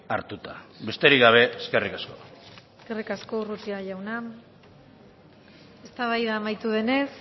hartuta besterik gabe eskerrik asko eskerrik asko urrutia jauna eztabaida amaitu denez